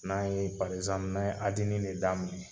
N'an yee n'an ye adini de daminɛ